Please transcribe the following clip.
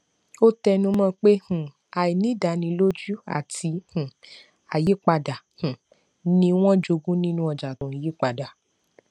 ó tẹnumọ pé um àìnídánilójú àti um àyípadà um ni wọn jogún nínú ọjà tó ń yípadà